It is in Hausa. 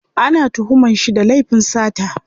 Ana tuhuman shi da laifin sata.